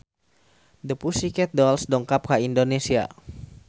The Pussycat Dolls dongkap ka Indonesia